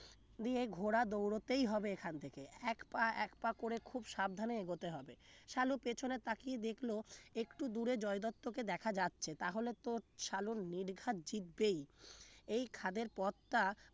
দিয়ে ঘোড়া দৌড়াতেই হবে এখান থেকে এক পা এক পা করে খুব সাবধানে এগোতে হবে সালু পেছনে তাকিয়ে দেখলো একটু দূরে জয় দত্তকে দেখা যাচ্ছে তাহলে তো সালু নির্ঘাত জিতবেই এই খাদের পথটা